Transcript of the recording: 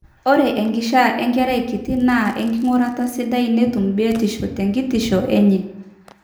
ore enkishaa enkerai kiti naa enking'urata sidai netum biotishu tekitishu enye